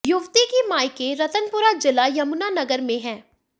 युवती कि मायके रतनपुरा जिला यमुना नगर में हैं